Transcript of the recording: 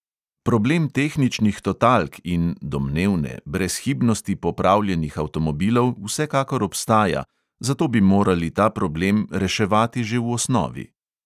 Problem tehničnih totalk in brezhibnosti popravljenih avtomobilov vsekakor obstaja, zato bi morali ta problem reševati že v osnovi.